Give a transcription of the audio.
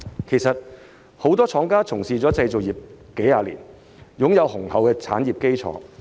不少廠家從事製造業數十年，擁有雄厚的產業基礎。